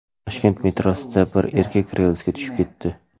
Toshkent metrosida bir erkak relsga tushib ketdi.